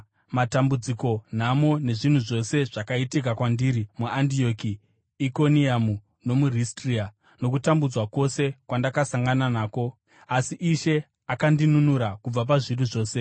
matambudziko, nhamo, nezvinhu zvose zvakaitika kwandiri muAndioki, Ikoniamu nomuRistra, nokutambudzwa kwose kwandakasangana nako. Asi Ishe akandinunura kubva pazviri zvose.